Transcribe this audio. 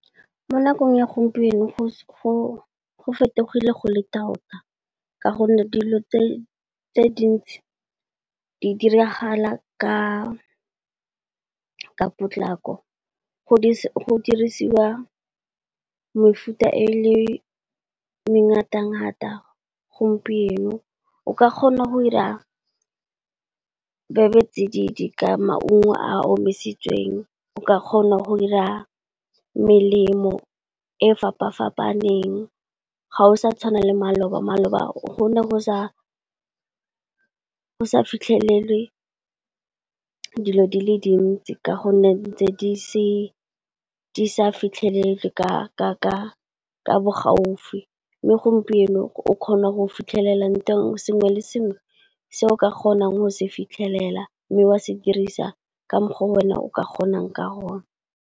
Mo nakong ya gompieno go fetogile go le tota ka gonne dilo tse dintsi di diragala ka potlako go dirisiwa mefuta e le mengata ngata gompieno. O ka kgona go dira bebetsididi ka maungo a omisitsweng, o ka kgona go ira melemo e fapa-fapaneng ga go sa tshwana le maloba, maloba go ne go sa fitlhelelwe dilo di le dintsi ka gonne ntse di sa fitlhelege ka bo gaufi. Mme gompieno o kgona go fitlhelela sengwe le sengwe se o ka kgonang go se fitlhelela, mme wa se dirisa ka mo go wena o ka kgonang ka gona.